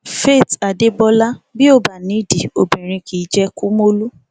faith adébọlá bí ó bá nídìí obìnrin kì í jẹ kumolu